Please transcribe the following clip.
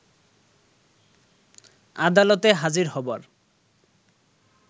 আদালতে হাজির হবার